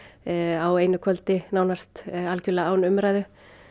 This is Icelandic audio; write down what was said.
á einu kvöldi algjörlega án umræðu